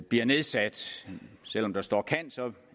bliver nedsat selv om der står kan